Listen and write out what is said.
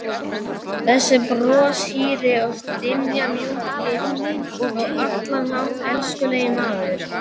Þessi broshýri og stimamjúki og á allan hátt elskulegi maður!